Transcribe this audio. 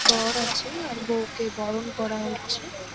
বর আছে আর বউকে বরণ করা হচ্ছে।